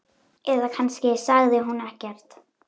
Eða kannski sagði hún ekkert.